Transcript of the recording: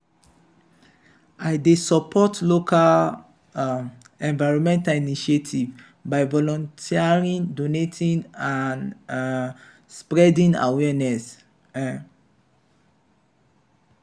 i dey support local um environmental initiatives by volunteering donating and um spreading awareness. um